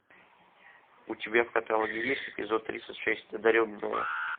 у тебя в каталоге есть эпизод тридцать шесть одаренные